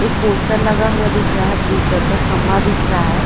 एक पोस्टर लगा हुआ दिख रहा है ब्लू कलर का खंभा दिख रहा है।